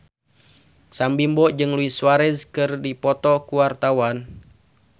Sam Bimbo jeung Luis Suarez keur dipoto ku wartawan